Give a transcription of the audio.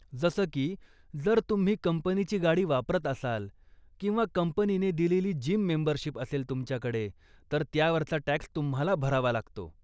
जसं की, जर तुम्ही कंपनीची गाडी वापरत असाल किंवा कंपनीने दिलेली जिम मेंबरशीप असेल तुमच्याकडे, तर त्यावरचा टॅक्स तुम्हाला भरावा लागतो.